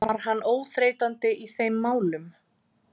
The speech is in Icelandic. Var hann óþreytandi í þeim málum.